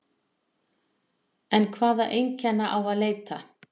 En hvaða einkenna á að leita?